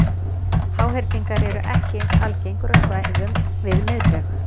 Háhyrningar eru ekki eins algengir á svæðum við miðbaug.